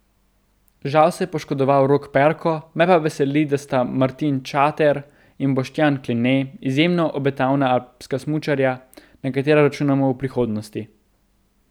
Žal se je poškodoval Rok Perko, me pa veseli, da sta Martin Čater in Boštjan Kline izjemno obetavna alpska smučarja, na katera računamo v prihodnosti.